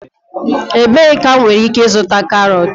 Ebee ka m nwere ike ịzụta carrots?